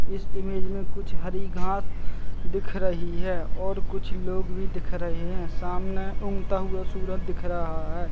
इस इमेज में कुछ हरी घास दिख रही है और कुछ लोग भी दिख रहे है सामने उगता हुआ सूरज दिख रहा है।